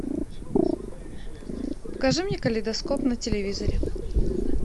покажи мне калейдоскоп на телевизоре